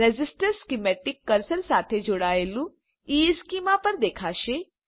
resistor schematic cursor સાથે જોડાયેલું ઇશ્ચેમાં પર દેખાશે